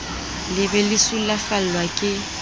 le be le sulafallwa ke